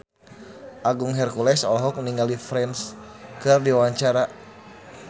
Agung Hercules olohok ningali Prince keur diwawancara